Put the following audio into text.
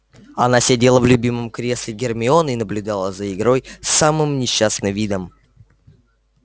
она сидела в любимом кресле гермионы и наблюдала за игрой с самым несчастным видом